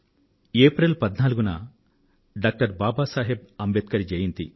April 14న doctor Baba Saheb Ambedkar జయంతి